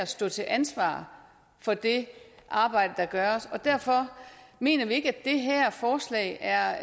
stå til ansvar for det arbejde der gøres og derfor mener vi ikke at det her forslag er